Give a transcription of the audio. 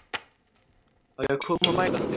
Á ég að koma og mæla þig